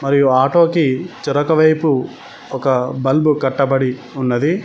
ఈ ఆటో కి వెనక వైపు ఒక బల్బు కట్టబడి ఉన్నది